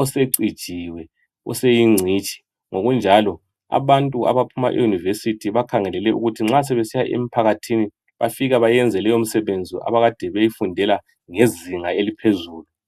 osecijiwe oseyingcitshi njalo abantu abaphuma e university bakhangelelwe ukuthi nxa sebesiya emphakathini bafike beyenze leyo msebenzi abakade beyifundela ngezinga eliphezulu